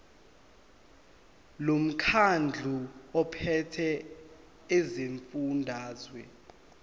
lomkhandlu ophethe esifundazweni